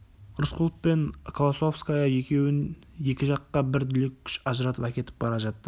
рысқұлов пен колосовская екеуін екі жаққа бір дүлей күш ажыратып әкетіп бара жатты